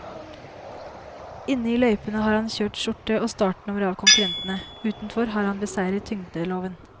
Inne i løypene har han kjørt skjorte og startnummer av konkurrentene, utenfor har han beseiret tyngdeloven.